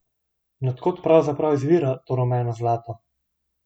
In od kod pravzaprav izvira to rumeno zlato?